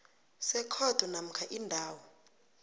sekhotho namkha indawo